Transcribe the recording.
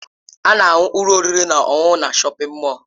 A na-ahụ ụlọ oriri na ọṅụṅụ na shọpin mọll.